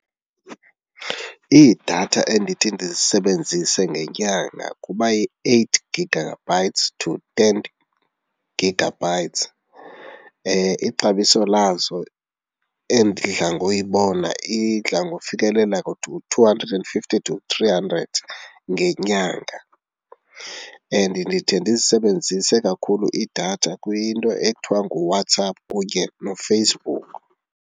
Iidatha endithi ndizisebenzise ngenyanga kuba yi-eight gigabytes to ten gigabytes. Ixabiso lazo endidla ngoyibona idla ngofikelela to two hundred and fifty to three hundred ngenyanga and ndithi ndiyisebenzise kakhulu idatha kwinto ekuthiwa nguWhatsApp kunye noFacebook.